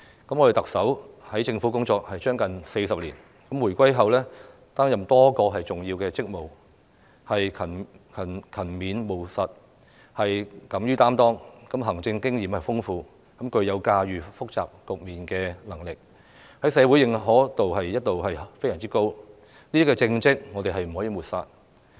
特首在政府工作近40年，回歸後擔任多個重要職務，勤勉務實，敢於擔當，行政經驗豐富，具有駕馭複雜局面的能力，在社會的認可度一直非常高，這些政績我們不能抹煞。